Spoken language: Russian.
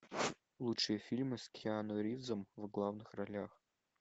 лучшие фильмы с киану ривзом в главных ролях